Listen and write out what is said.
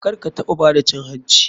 Karkataɓa bada cin hanci.